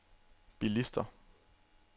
bilister